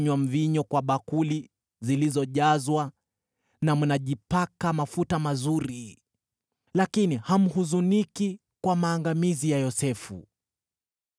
Mnakunywa mvinyo kwa bakuli zilizojazwa, na mnajipaka mafuta mazuri, lakini hamhuzuniki kwa maangamizi ya Yosefu.